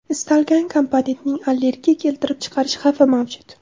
Istalgan komponentning allergiya keltirib chiqarish xavfi mavjud.